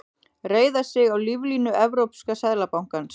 Reiða sig á líflínu Evrópska seðlabankans